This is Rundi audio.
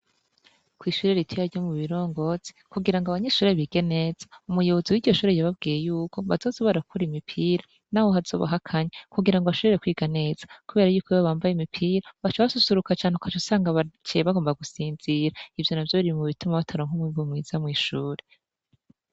Ishuri ritoya ryo Mubirongozi kugira abanyeshuri bige neza umuyobozi wiryo shuri yababwiye yuko bazoza barakura imipira naho hazoba hakanye kugirango bashobore kwiga neza kubera ko iyo bambaye imipira baca basusuruka cane ugaca usanga baciye bagomba gusinzira ivyo navyo biri mu bituma bataronka umwimbu mwiza mw'ishuri.